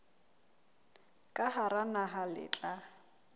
ka hara naha le tla